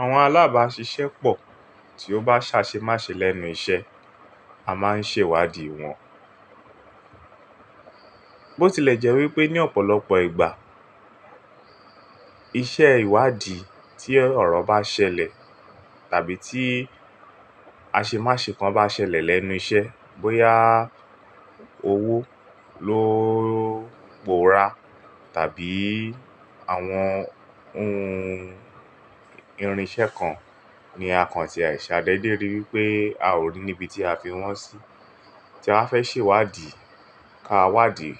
Àwọn alábàáṣiṣẹ́ pọ̀ tí ó bá sa ṣe má ṣe lẹ́nu iṣẹ́, a máa ń ṣe ìwádìí wọn. Botilẹjẹ́wé pé ní ọ̀pọ̀lọpọ̀ ìgbà, iṣẹ́ ìwádìí tí ọ̀rọ̀ bá ṣẹlẹ̀ tàbí tí a ṣe má ṣe kan bá ṣẹlẹ̀ lẹ́nu iṣẹ́, bóyá owó ló pòórá tàbí àwọn ohun irinṣẹ́ kan ni a kàn ti àìṣẹ̀ àdédè rí wípé a ò rí níbi tí a fi wọ́n sí, tí a fẹ́ ṣe ìwádìí ká wádìí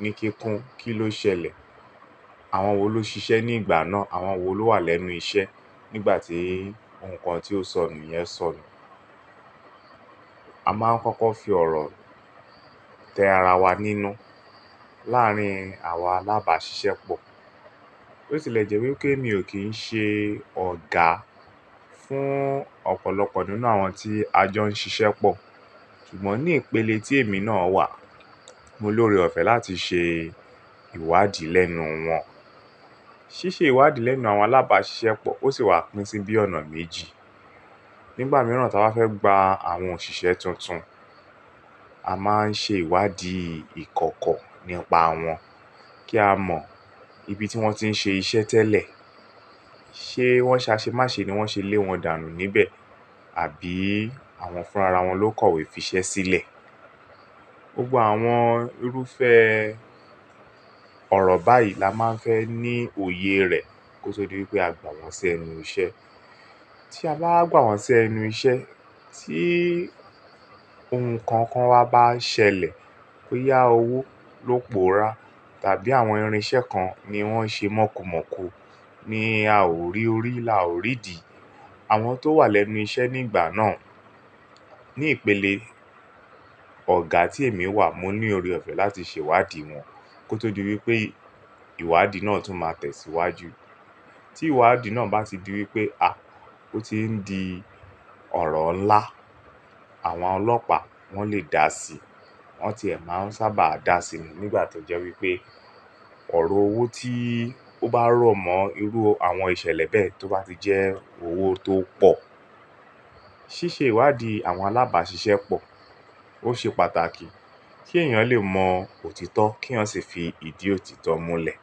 ní kíkún, kí ló ṣẹlẹ̀? Àwọn wo ló ṣiṣẹ́ ní ìgbà náà? Àwọn wo ló wà lẹ́nu iṣẹ́ nígbà tí nǹkan tí ó sọnù yẹn sọnù? A máa ń kọ́kọ́ fi ọ̀rọ̀ tẹ ara wa nínú láàárín àwa alábàáṣiṣẹ́ pọ̀. Botilẹjẹ́wé pé mi ò kín ṣe ọ̀gá fún ọ̀pọ̀lọpọ̀ nínú àwọn tí a jọ ń ṣiṣẹ́ pọ̀. Ṣùgbọ́n ní ìpele tí èmi náà wà, mo ní oore ọ̀fẹ́ láti ṣe ìwádìí lẹ́nu wọn. Síṣe ìwádìí lẹ́nu àwọn alábàáṣiṣẹ́ pọ̀ ó sì wà pín sí bí ọ̀nà méjì. Nígbà mìíràn táa fẹ́ gba àwọn òṣìṣẹ́ tuntun, a máa ń ṣe ìwádìí ìkọ̀kọ̀ nípa wọn kí a mọ ibi tí wọ́n ti ń ṣe iṣẹ́ tẹ́lẹ̀. Ṣé wọ́n sa ṣe má ṣe ni wọ́n ṣe lé wọn dànù níbẹ̀? Àbí àwọn fúnra wọn ló kọ̀wé fiṣẹ́ sílẹ̀? Gbogbo àwọn irúfẹ́ ọ̀rọ̀ báyìí la máa ń fẹ́ ní òye rẹ̀ kó tó di wípé a gbà wọ́n sí ẹnu iṣẹ́. Tí a bá gbà wọ́n sí ẹnu iṣẹ́, tí ohun kan kan wá bá ṣẹlẹ̀, bóyá owó ló pòórá tàbí àwọn irinṣẹ́ kan ni wọ́n ṣe mókùmọ̀kù ni a ò rí orí, là ò rí dì, àwọn tó wà lẹ́nu iṣẹ́ nígbà náà, ní ìpele ọ̀gá tí èmi wà, mo ní oore ọ̀fẹ́ láti ṣe ìwádìí wọn kó tó di wípé ìwádìí náà tún máa tẹ̀síwájú. Tí ìwádìí náà bá ti di wípé, à, ó ti ń di ọ̀rọ̀ ńlá, àwọn ọlọ́pàá wọ́n lè dà sí i. Wọ́n ti ẹ máa ń sábà dà sí i nígbà tó jẹ́ wípé ọ̀rọ̀ owó tí ó bá rọ̀mọ́ irú àwọn ìṣẹ̀lẹ̀ bẹ́ẹ̀ tó bá ti jẹ́ owó tó pọ̀. Síṣe ìwádìí àwọn alábàáṣiṣẹ́ pọ̀ ó ṣe pàtàkì kí èèyàn lè mọ òtítọ́ kí wọn sì fi ìdí òtítọ́ múlẹ̀.